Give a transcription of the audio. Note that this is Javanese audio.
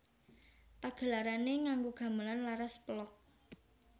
Pagelarané nganggo gamelan laras pelog